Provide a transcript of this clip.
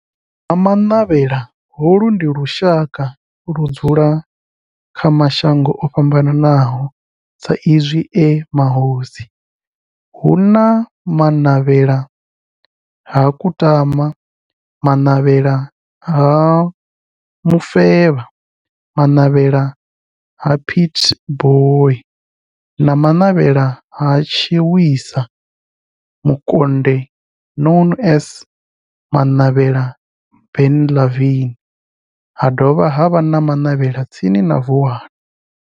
Vha Ha-Manavhela, holu ndi lushaka ludzula kha mashango ofhambanaho sa izwi e mahosi hu na Manavhela ha Kutama, Manavhela ha Mufeba, Manavhela ha Pietboi na Manavhela ha Tshiwisa Mukonde known as Manavhela Benlavin ha dovha havha na Manavhela tsini na Vuwani.